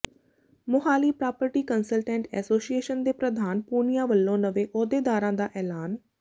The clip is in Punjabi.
ਮੁਹਾਲੀ ਪ੍ਰਾਪਰਟੀ ਕੰਸਲਟੈਂਟ ਐਸੋਸੀਏਸ਼ਨ ਦੇ ਪ੍ਰਧਾਨ ਪੂਨੀਆ ਵੱਲੋਂ ਨਵੇਂ ਅਹੁਦੇਦਾਰਾਂ ਦਾ ਐਲਾਨ